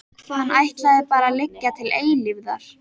Hann ætlaði bara að liggja til eilífðar.